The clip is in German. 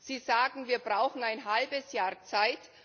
Sie sagen, wir brauchen ein halbes Jahr Zeit.